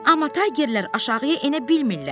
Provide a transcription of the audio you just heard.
Amma taygerlər aşağıya enə bilmirlər.